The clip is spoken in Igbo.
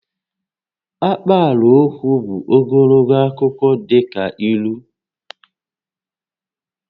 Akpaalaokwu bụ ogologo akụkọ dị ka ílú